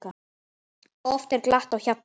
Oft er glatt á hjalla.